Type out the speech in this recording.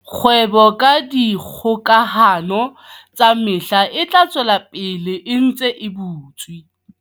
Kgwebo ka dikgokahano tsa mehala e tla tswela pele e ntse e butswe.